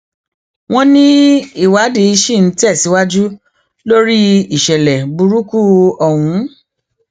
wọn ní ìwádìí ṣì ń tẹsíwájú lórí ìṣẹlẹ burúkú ọhún